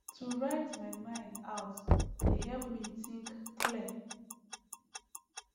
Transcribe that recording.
to write my mind out dey help me think clear